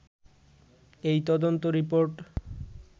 এই তদন্ত রিপোর্ট